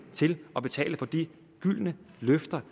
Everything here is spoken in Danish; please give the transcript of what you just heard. til at betale for de gyldne løfter